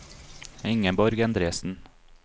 Ingeborg Endresen